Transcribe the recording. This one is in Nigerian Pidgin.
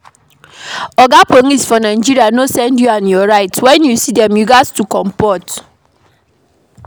Oga police for Nigeria no send you and your right, when you see dem you need to comport